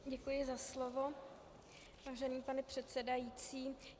Děkuji za slovo, vážený pane předsedající.